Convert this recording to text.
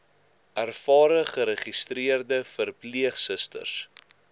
ervare geregistreerde verpleegsusters